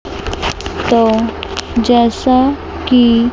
तो जैसा की--